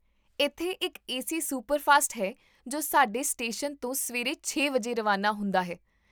ਇੱਥੇ ਇੱਕ A C superfast ਹੈ ਜੋ ਸਾਡੇ ਸਟੇਸ਼ਨ ਤੋਂ ਸਵੇਰੇ ਛੇ ਵਜੇ ਰਵਾਨਾ ਹੁੰਦਾ ਹੈ